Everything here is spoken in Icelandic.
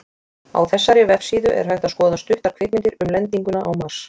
Á þessari vefsíðu er hægt að skoða stuttar kvikmyndir um lendinguna á Mars.